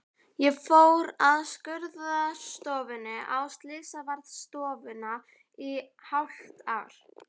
Ég fór af skurðstofunni á slysavarðstofuna í hálft ár.